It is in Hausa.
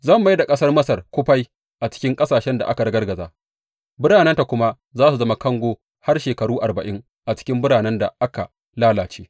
Zan mai da ƙasar Masar kufai a cikin ƙasashen da aka ragargaza, biranenta kuma za su zama kango har shekaru arba’in a cikin biranen da aka lalace.